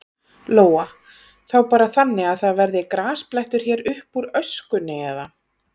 Lóa: Þá bara þannig að það verði grasblettur hér uppúr öskunni, eða?